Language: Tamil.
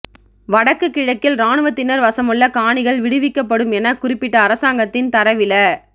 வடக்கு கிழக்கில் இராணுவத்தினர் வசமுள்ள காணிகள் விடுவிக்கப்படும் எனக் குறிப்பிட்ட அரசாங்கத்தின் தரவில